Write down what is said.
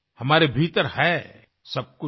हमारे भीतर है सबकुछ है